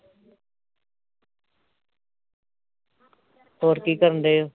ਹੋਰ ਕੀ ਕਰਨ ਦਏ ਓ